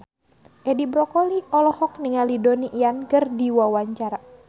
Edi Brokoli olohok ningali Donnie Yan keur diwawancara